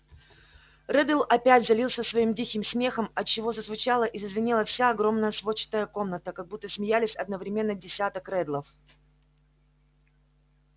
реддл опять залился своим диким смехом отчего зазвучала и зазвенела вся огромная сводчатая комната как будто смеялись одновременно десяток реддлов